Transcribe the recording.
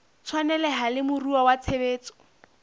tshwaneleha le moruo wa tshebetso